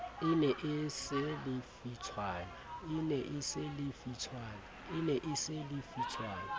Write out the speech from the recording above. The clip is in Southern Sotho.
e ne e se lefitshwana